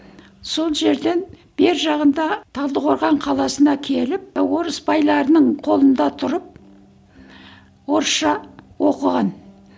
сол жерден бер жағында талдықорған қаласына келіп орыс байларының қолында тұрып орысша оқыған